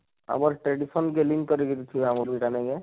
ଆମର tradition କେ ନେଇ କରି ଥିବା movie ଟା ନେଇଁ କାଏଁ,